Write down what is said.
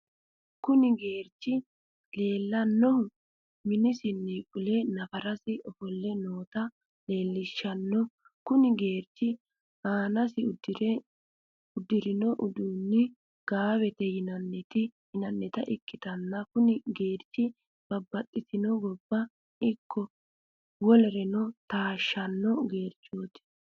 kuni gerich lelanohu minisinni fule nafarasi offole nota lelishshano. kuni gerichino anasi udrino udunano gawete yinanita ikitana kuni. gerichino babaxitino gibo iko wolereno tashshano gerichoti.